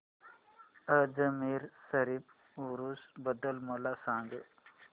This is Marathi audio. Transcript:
अजमेर शरीफ उरूस बद्दल मला सांग